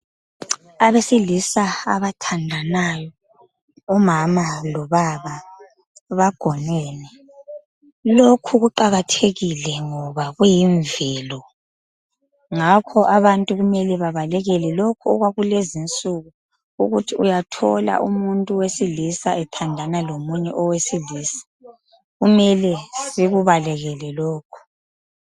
Abesilisa abathandanayo umama loba bagonene .Lokhu kuqakathekile ngoba kuyimvelo ngakho abantu kumele babalekele lokhu okwakulezinsuku ukuthi uyathola umuntu wesilisa ethandana lomunye owesilisa. Kumele sikubalekele lokhu